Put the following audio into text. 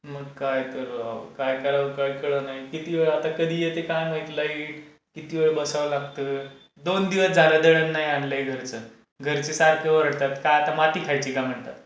मग काय तर राव. काय करावं काही कळे नाही. आणि किती वेळ? आता कधी येते काय माहित लाईट. किती वेळ बसावं लागतं? दोन दिवस झाले दळण नाही आणलाय घरचं. घरचे सारखे ओरडतात. काय तर माती खायची का म्हणतात.